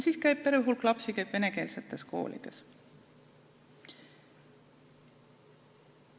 Siis käib terve hulk lapsi venekeelses koolis.